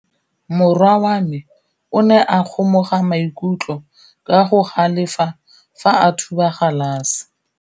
Morwa wa me o ne a kgomoga maikutlo ka go galefa fa a thuba galase.